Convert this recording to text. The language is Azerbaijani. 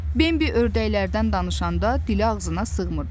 Bembi ördəklərdən danışanda dili ağzına sığmırdı.